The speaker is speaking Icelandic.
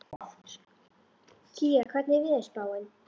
Kía, hvernig er veðurspáin?